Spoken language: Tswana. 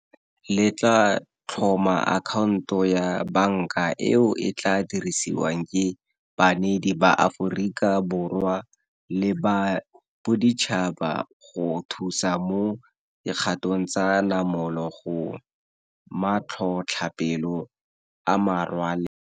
Le tla tlhoma akhaonto ya banka eo e tla dirisiwang ke baneedi ba Aforika Borwa le ba boditšhaba go thusa mo dikgatong tsa namolo go matlhotlhapelo a merwalela.